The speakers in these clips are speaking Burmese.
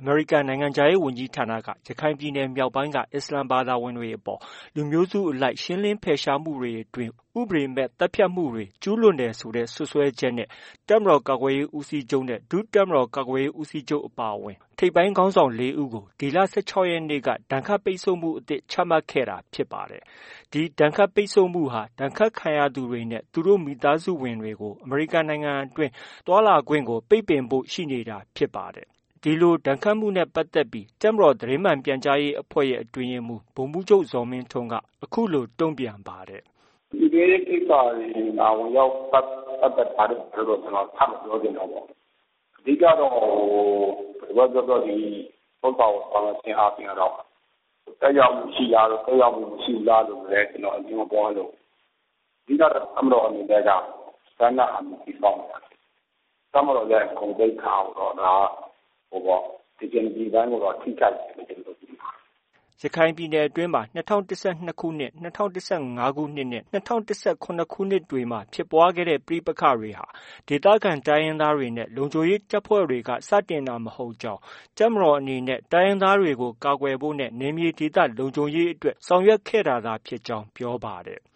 အမေရိကန်နိုင်ငံခြားရေးဝန်ကြီးဌာနက ရခိုင်ပြည်နယ်မြောက်ပိုင်းက အစ္စလာမ်ဘာသာဝင်တွေအပေါ် လူမျိုးစုအလိုက်ရှင်းလင်းဖယ်ရှားမှုတွေအတွင်း ဥပဒေမဲ့သတ်ဖြတ်မှုတွေ ကျူးလွန်ခဲ့တယ်ဆိုတဲ့စွဲဆိုချက်နဲ့ တပ်မတော်ကာကွယ်ရေးဦးစီးချုပ် ၊ ဒု တပ်မတော်ကာကွယ်ရေးဦးစီးချုပ်အပါအဝင် ထိပ်ပိုင်းခေါင်းဆောင် ၄ဦးကို ဒီလ ၁၆ရက်နေ့ ဒဏ်ခတ်ပိတ်ဆို့မှု အသစ်ချမှတ်ခဲ့တာဖြစ်ပါတယ်။ ဒီဒဏ်ခတ်ပိတ်ဆို့မှုဟာ ဒဏ်ခတ်ခံရသူတွေနဲ့ သူတို့မိသားစုဝင်တွေကို အမေရိကန်နိုင်ငံတွင်း သွားလာခွင့် ပိတ်ပင်သွားဖို့ရှိနေတာဖြစ်ပါတယ်။ ဒီလို ဒဏ်ခတ်မှုနဲ့ပတ်သက်ပြီး တပ်မတော်သတင်းမှန်ပြန်ကြားရေးအဖွဲ့ရဲ့ အတွင်းရေးမှူး ဗိုလ်မှူးချုပ် ဇော်မင်းထွန်းက အခုလို တုံ့ပြန်ပါတယ်။ “ပြည်တွင်းရေးကိစ္စတွေမှာ ဝင်ရောက်ပတ်သက်တာတို့ ဘာတို့တော့ ကျနော်က ထပ်မပြောချင်တော့ပါဘူး။ အဓိကကတော့ ဒီဥစ္စာကို ဆောင်ရွက်ခြင်းအားဖြင့် သက်ရောက်မှုရှိလား၊ သက်ရောက်မှုမရှိဘူးလားလို့လည်း ကျနော် အငြင်းမပွားလိုဘူး။ အဓိကကတော့ တပ်မတော်အနေနဲ့ က standard army တည်ဆောက်နေတာ။ တပ်မတော်ရဲ့ ဂုဏ်သိက္ခာကိုတော့ ဒါက dignity ပိုင်းကိုတော့ ထိခိုက်စေတယ်လို့တော့ ကျနော်တို့က မြင်ပါတယ်။ ” ရခိုင်ပြည်နယ်အတွင်း ၂၀၁၂၊ ၂၀၁၅နဲ့ ၂၀၁၇ခုနှစ်တွေမှာ ဖြစ်ပွားခဲ့တဲ့ ပဋိပက္ခတွေဟာ ဒေသခံ တိုင်းရင်းသားတွေနဲ့ လုံခြုံရေးတပ်ဖွဲ့တွေက စတင်တာမဟုတ်ကြောင်း၊ တပ်မတော်အနေနဲ့ တိုင်းရင်းသားတွေကို ကာကွယ်ဖို့နဲ့နယ်မြေဒေသလုံခြုံရေးအတွက် ဆောင်ရွက်ခဲ့တာသာဖြစ်ကြောင်း ပြောပါတယ်။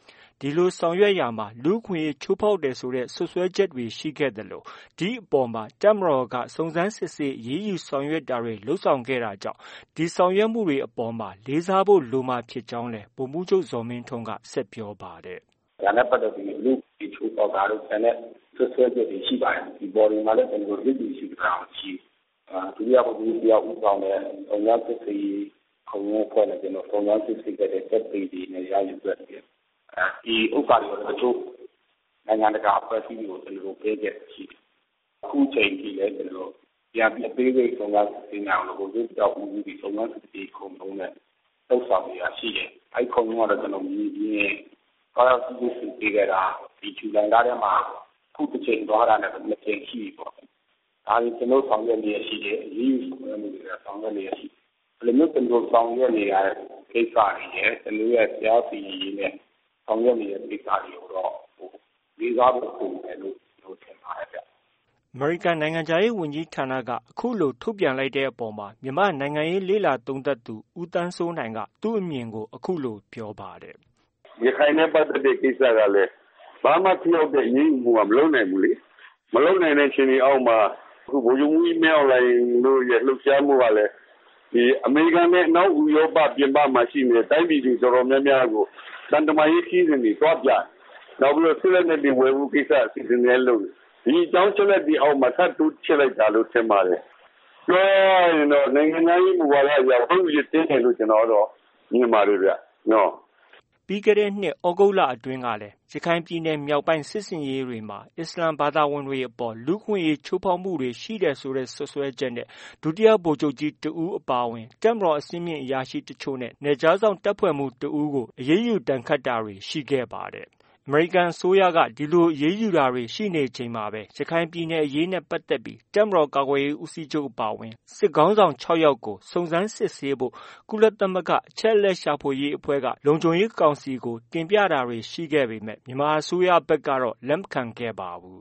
ဒီလိုဆောင်ရွက်ရာမှာ လူ့အခွင့်အရေးချိုးဖောက်တယ်ဆိုတဲ့ စွပ်စွဲချက်တွေ ရှိခဲ့သလို ဒီအပေါ်မှာ တပ်မတော်က စုံစမ်းစစ်ဆေးအရေးယူဆောင်ရွက်တာတွေ လုပ်ဆောင်ခဲ့တာကြောင့် ဒီဆောင်ရွက်မှုတွေအပေါ်မှာ လေးစားဖို့ လိုမှာဖြစ်ကြောင်းလည်း ဗိုလ်မှူးချုပ် ဇော်မင်းထွန်းက ဆက်ပြောပါတယ်။ “ ဒါနဲ့ပတ်သက်ပြီး လူ့အခွင့်အရေးချိုးဖောက်တာတို့ ကျန်တဲ့ စွပ်စွဲချက်တွေရှိပါတယ်။ ဒီအပေါ်တွေမှာလည်း ကျနော်တို့ လစ်လျူရှုထားတာမရှိဘူး။ ဒုတိယဗိုလ်ချုပ်ကြီး တစ်ယောက် ဦးဆောင်တဲ့ စုံစမ်းစစ်ဆေးရေး ခုံရုံးအဖွဲ့နဲ့စုံစမ်းစစ်ဆေးခဲ့တဲ့ သက်သေတွေ လည်း ရယူခဲ့တယ်။ ဒီဥစ္စာတွေကိုလည်း တချို့ နိုင်ငံတကာအဖွဲ့အစည်းတွေကို ကျနော်တို့ ပေးခဲ့တာရှိတယ်။ အခုအခါမှာလည်း ကျနော်တို့ ပြန်ပြီး အသေးစိတ် စုံစမ်းစစ်ဆေးနိုင်အောင်လို့ ဗိုလ်ချုပ်တစ်ယောက်ဦးစီးပြီး စုံစမ်းစစ်ဆေးရေးခုံရုံးနဲ့ လုပ်ဆောင်နေတာ ရှိတယ်။ အဲဒီခုံရုံးကတော့ ကျနော်တို့ မြေပြင် သွားရောက်စစ်ဆေးကြည့်ရှု ခဲ့တာ ဒီဇူလိုင်လထဲမှာ ခုတစ်ကြိမ်သွားတာနဲ့ဆို နှစ်ကြိမ် ရှိပြီပေါ့။ ဒါတွေ ကျနော်တို့ ဆောင်ရွက်နေလျှက်ရှိတယ်။ အရေးယူတဲ့ လုပ်ငန်းတွေလည်းဆောင်ရွက်နေ လျှက်ရှိတယ်။ ဒီလိုမျိုးကျနော်တို့ ဆောင်ရွက်နေတဲ့ ကိစ္စတွေရယ် ကျနော်တို့ရဲ့ တရားစီရင်ရေးနဲ့ ဆောင်ရွက်နေတဲ့ ကိစ္စတွေကိုတော့ လေးစားဖို့ လိုမယ်လို့ ကျနော်တို့ ထင်ပါတယ်ဗျ။ ” အမေရိကန် နိုင်ငံခြားရေးဝန်ကြီးဌာနက အခုလို ထုတ်ပြန်လိုက်တဲ့အပေါ်မှာ မြန်မာ့နိုင်ငံရေးလေ့လာသုံးသပ်သူ ဦးသန်းစိုးနိုင်က သူ့အမြင်ကို အခုလို ပြောပါတယ်။ “ ရခိုင်နဲ့ပတ်သက်တဲ့ ကိစ္စကလည်း ဘာမှ ထိရောက်တဲ့ အရေးယူမှုက မလုပ်နိုင်ဘူးလေ။ မလုပ်နိုင်တဲ့ အခြေအနေအောက်မှာ ဗိုလ်ချုပ်မှူးကြီး မင်းအောင်လှိုင်တို့ရဲ့ လှုပ်ရှားမှုကလည်း ဒီအမေရိကန်နဲ့ အနောက်ဥရောပ ပြင်ပမှာ ရှိနေတဲ့ တိုင်းပြည်တွေ တော်တော်များများကို သံတမန်ရေး ခရီးစဉ်တွေ သွားပြနေတယ်။ နောက်ပြီး စစ်လက်နက်တွေ ဝယ်ဖို့ ကိစ္စ အစီအစဉ်တွေလည်း လုပ်နေတယ်။ ဒီအကြောင်း အချက်အလက်တွေ အောက်မှာ ထပ်တိုးချဲ့လိုက်တာလို့ ထင်ပါတယ်။ ပြောရရင်တော့ နိုင်ငံခြားရေးမူဝါဒအရ ဝက်အူရစ်တင်းတယ်လို့ ကျနော်က မြင်ပါတယ်ဗျ။” ပြီးခဲ့တဲ့နှစ် သြဂုတ်လအတွင်းကလည်း ရခိုင်ပြည်နယ်မြောက်ပိုင်းစစ်ဆင်ရေးတွေမှာ အစ္စလာမ်ဘာသာဝင် အပေါ် လူ့အခွင့်အရေးချိုးဖောက်တာတွေ ရှိတယ်လို့ စွပ်စွဲချက်နဲ့ ဒုတိယဗိုလ်ချုပ်ကြီးတစ်ဦးအပါအဝင် တပ်မတော် အဆင့်မြင့်အရာရှိ တစ်ချို့နဲ့ နယ်ခြားစောင်တပ်ဖွဲ့မှူး တစ်ဦးကို အရေးယူဒဏ်ခတ်တာ တွေရှိခဲ့ပါတယ်။ အမေရိကန်အစိုးရက ဒီလို အရေးယူတာတွေ ရှိနေချိန်မှာပဲ ရခိုင်ပြည်နယ်အရေးနဲ့ ပတ်သက်ပြီးတပ်မတော်ကာကွယ်ရေး ဦးစီးချုပ်အပါအဝင် စစ်ခေါင်းဆောင် ၆ယောက်ကို စုံစမ်းစစ်ဆေးဖို့ ကုလသမဂ္ဂ အချက်အလက်ရှာဖွေရေးအဖွဲ့က လုံခြုံရေးကောင်စီ တင်ပြတာတွေ ရှိခဲ့ပေမဲ့ မြန်မာအစိုးရဘက်ကတော့ လက်မခံခဲ့ပါဘူး